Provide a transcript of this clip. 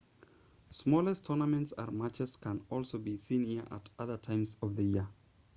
smaller tournaments and matches can also be seen here at other times of the year